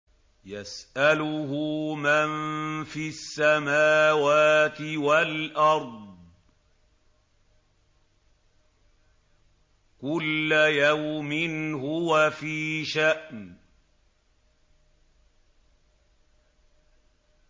يَسْأَلُهُ مَن فِي السَّمَاوَاتِ وَالْأَرْضِ ۚ كُلَّ يَوْمٍ هُوَ فِي شَأْنٍ